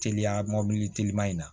Teliya mɔbili te teliman in na